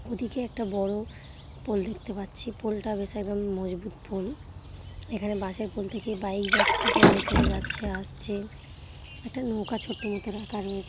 ও দিকে একটা বড় পোল দেখতে পাচ্ছি। পোল -টা বেশ একদম মজবুত পোল । এখানে বাঁশের পোল থেকে বাইক যাচ্ছে সব লোকেরা যাচ্ছে আসছে । একটা নৌকা ছোট মত রাখা রয়েছে।